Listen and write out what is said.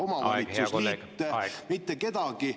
… omavalitsusliite, mitte kedagi.